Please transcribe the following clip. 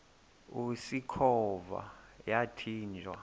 usikhova yathinjw a